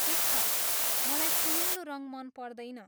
ठिक छ, मलाई सुनौलो रङ मन पर्दैन।